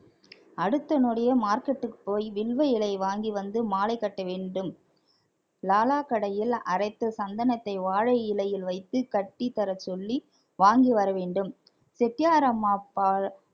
அடுத்த நொடியே market க்கு போய் வில்வ இலையை வாங்கி வந்து மாலை கட்ட வேண்டும் லாலா கடையில் அரைத்த சந்தனத்தை வாழை இலையில் வைத்து கட்டி தரச்சொல்லி வாங்கி வர வேண்டும் செட்டியாரம்மா பா~